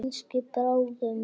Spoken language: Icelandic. Kannski bráðum.